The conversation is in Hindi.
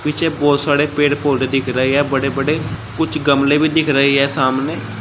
पीछे बहुत सारे पेड़ पौधे दिख रहे है बड़े बड़े कुछ गमले भी दिख रहे है सामने।